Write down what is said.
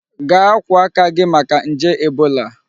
Gaa akwu aka gi maka nje Ebola!